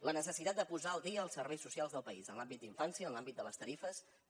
la necessitat de posar al dia els serveis socials del país en l’àmbit d’infància en l’àmbit de les tarifes també